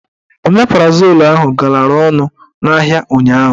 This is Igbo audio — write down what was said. Omeprazol ahụ galara ọnụ n'ahịa ụnyaahụ.